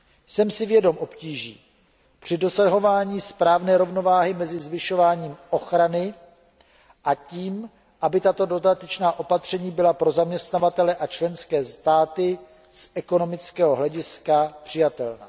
Jsem si vědom obtíží při dosahování správné rovnováhy mezi zvyšováním ochrany a tím, aby tato dodatečná opatření byla pro zaměstnavatele a členské státy z ekonomického hlediska přijatelná.